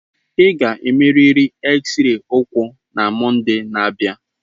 Ị ga-emerịrị X-ray ụkwụ na Mọnde na-abịa.